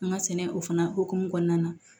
An ka sɛnɛ o fana hokumu kɔnɔna na